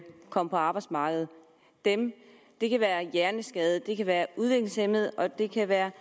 komme på arbejdsmarkedet det kan være hjerneskadede det kan være udviklingshæmmede og det kan være